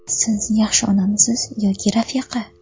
Siz yaxshi onamisiz yoki rafiqa?